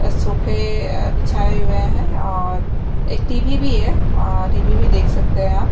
और सोफे बिछाए हुए है और एक टी_वी भी है टी_वी भी देख सकते है आप--